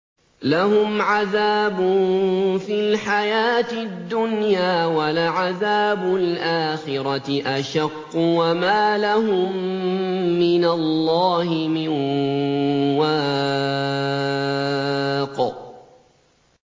لَّهُمْ عَذَابٌ فِي الْحَيَاةِ الدُّنْيَا ۖ وَلَعَذَابُ الْآخِرَةِ أَشَقُّ ۖ وَمَا لَهُم مِّنَ اللَّهِ مِن وَاقٍ